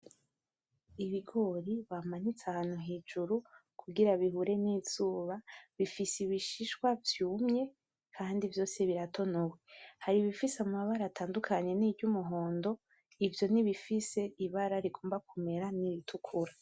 Ibigori bamanitse ahantu hejuru kugira bihure n'izuba, bifise ibishishwa vyumye kandi vyose biratonowe, hari ibifise amabara atandukanye n'iryumuhondo, ivyo n'ibifise ibara rigomba kumera n'iritukura.